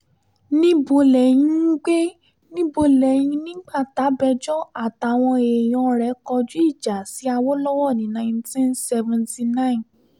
níbo lẹ́yìn ń gbé níbo lẹ́yìn nígbà tabẹjọ́ àtàwọn èèyàn rẹ̀ kọjú ìjà sí awolowo ní nineteen seventy nine